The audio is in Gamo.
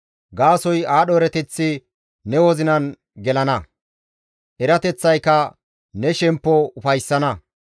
Gaasoykka aadho erateththi ne wozinan gelana; erateththayka ne shemppo ufayssana.